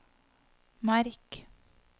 merk